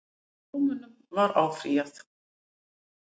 Dómunum var áfrýjað